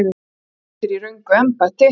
Þú lentir í röngu embætti.